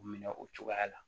U minɛ o cogoya la